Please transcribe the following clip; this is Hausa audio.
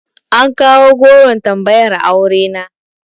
An kawo goron tambayar aure na.